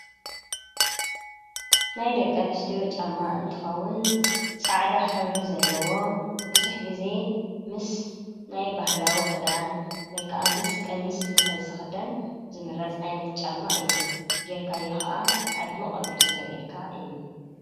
ናይ ደቀን ስትዮ ጫማ እንትኸውን ጻዕዳ ሕብሪ ዘለዎ ብዙኅ ጊዜ ምስ ናይ ባሕላዊ ኽዳን ወይከዓ ምስ ቀሚስ እንተ ዝኽደን ዝምረጽ ዓይነት ጫማእ እዩ ጌርካዮ ኸዓ ኣድሚቕ ኣቢሉ ዘርኢርካ እዩ።